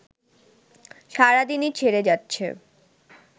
সারাদিনই ছেড়ে যাচ্ছে